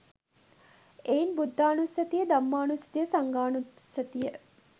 එයින් බුද්ධානුස්සතිය, ධම්මානුස්සතිය, සංඝානුස්සතිය